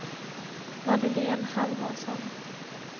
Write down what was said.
Madeleine Halvarsson